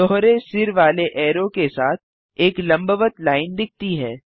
दोहरे सिर वाले ऐरो के साथ एक लंबवत लाइन दिखती है